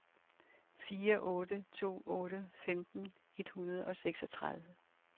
fire otte to otte femten et hundrede og seksogtredive